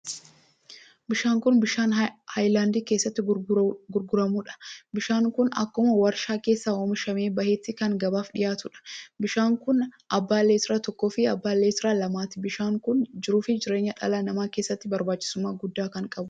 Bishaan kun bishaan hayilaandii keessatti gurguramuudha. bishaan kun akkuma warshaa keessaa oomishamee bahetti kan gabaaf dhiyaatuudha. bishaan kun abbaa leetira tokkoo fi abbaa leetira lamaatii. bishaan kun jiruu fi jireenya dhala namaa keessatti barbaachisummaa guddaa kan qabuudha.